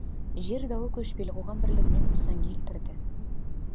жер дауы көшпелі қоғам бірлігіне нұқсан келтірді